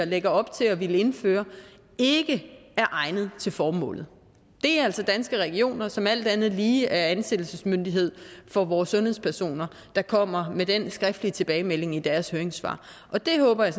lægger op til at ville indføre ikke er egnet til formålet det er altså danske regioner som alt andet lige er ansættelsesmyndighed for vores sundhedspersoner der kommer med den skriftlige tilbagemelding i deres høringssvar og der håber jeg